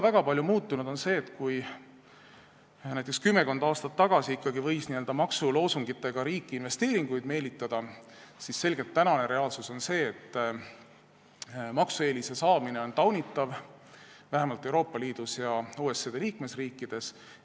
Väga palju on muutunud ka see, et kui näiteks kümmekond aastat tagasi ikkagi võis maksuloosungitega riiki investeeringuid meelitada, siis tänane reaalsus on selgelt see, et maksueelise saamine on taunitav, vähemalt Euroopa Liidus ja OECD liikmesriikides.